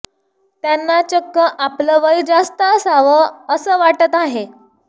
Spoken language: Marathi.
त्यांना चक्क आपलं वय जास्त असावं असं वाटतं आहे